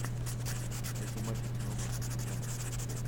найти матч арсенал манчестер юнайтед какой счет